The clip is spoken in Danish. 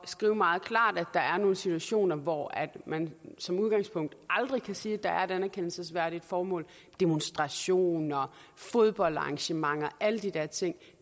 skrive meget klart at der er nogle situationer hvor man som udgangspunkt aldrig kan sige der er et anerkendelsesværdigt formål demonstrationer fodboldarrangementer alle de der ting